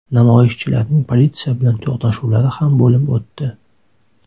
Namoyishchilarning politsiya bilan to‘qnashuvlari ham bo‘lib o‘tdi.